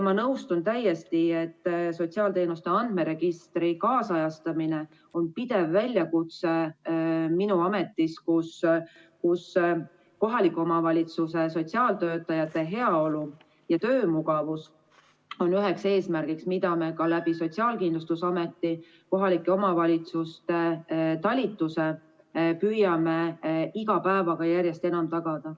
Ma nõustun täiesti, et sotsiaalteenuste andmeregistri ajakohastamine on pidev väljakutse minu ametis, kus kohaliku omavalitsuse sotsiaaltöötajate heaolu ja töömugavus on üks eesmärk, mida me ka Sotsiaalkindlustusameti kohalike omavalitsuste talituses püüame iga päevaga järjest enam tagada.